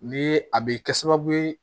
Ni a be kɛ sababu ye